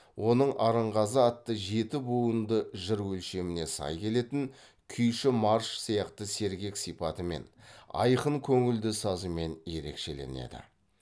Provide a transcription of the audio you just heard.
оның арынғазы атты жеті буынды жыр өлшеміне сай келетін күйші марш сияқты сергек сипатымен айқын көңілді сазымен ерекшеленеді